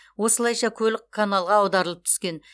осылайша көлік каналға аударылып түскен